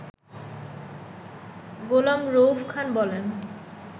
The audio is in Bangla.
গোলাম রউফ খান বলেন